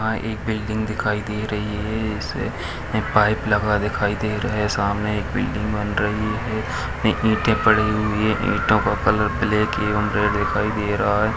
यहाँ एक बिल्डिंग दिखाई दे रही है इसे पाइप लगा दिखाई दे रहा है सामने एक बिल्डिंग बन रही है में ईंटें पड़ी हुई है ईंटों का कलर ब्लैक एवं रेड दिखाई दे रहा है।